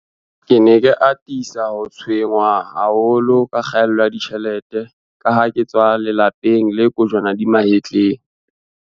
"Ke ne ke atisa ho tshwe-nngwa haholo ke kgaello ya ditjhelete kaha ke tswa lelape ng le kojwana di mahetleng."